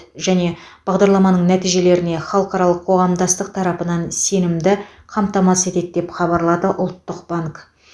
және бағдарламаның нәтижелеріне халықаралық қоғамдастық тарапынан сенімді қамтамасыз етеді деп хабарлады ұлттық банк